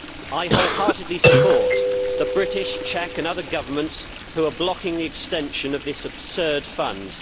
I wholeheartedly support the British, Czech and other governments who are blocking the extension of this absurd fund.